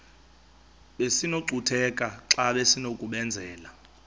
besinokucutheka xa besinokubenzela